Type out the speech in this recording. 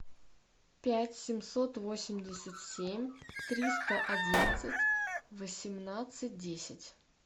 пять семьсот восемьдесят семь триста одиннадцать восемнадцать десять